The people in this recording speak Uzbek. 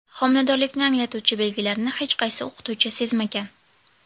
Homiladorlikni anglatuvchi belgilarni hech qaysi o‘qituvchi sezmagan.